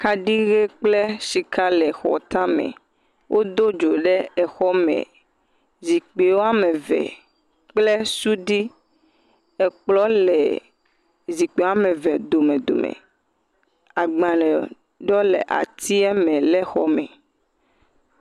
Kaɖi ɣe kple shika le xɔ tame, wo do dzo ɖe exɔ me, zikpui woame eve kple suɖi, ekplɔ̃ le zikpui woame eve dome dome, agbalē ɖewo le atieme le xɔ me.